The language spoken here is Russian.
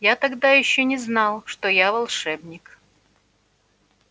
я тогда ещё не знал что я волшебник